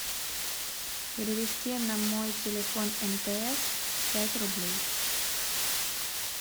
перевести на мой телефон мтс пять рублей